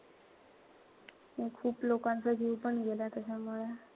खूप लोकांचा जीव पण गेला त्याच्यामुळे.